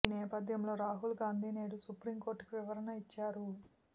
ఈ నేపథ్యంలో రాహుల్ గాంధీ నేడు సుప్రీం కోర్టుకు వివరణ ఇచ్చారు